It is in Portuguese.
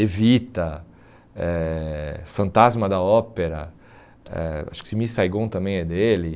Evita, eh Fantasma da Ópera, eh acho que Simi Saigon também é dele.